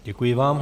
Děkuji vám.